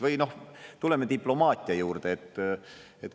Või noh, tuleme diplomaatia juurde.